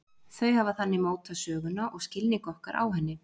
Þau hafa þannig mótað söguna og skilning okkar á henni.